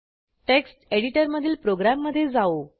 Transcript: text एडिटरमधील प्रोग्रॅममधे जाऊ